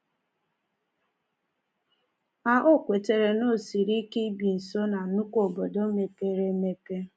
Ma, o kwetara na o siri ike ibi nso ná nnukwu obodo mepere emepe.